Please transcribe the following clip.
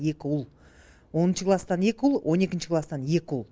екі ұл оныншы класстан екі ұл он екінші класстан екі ұл